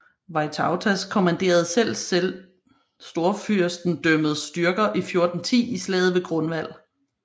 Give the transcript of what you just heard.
Vytautas kommanderede selv storfyrstendømmets styrker i 1410 i slaget ved Grunwald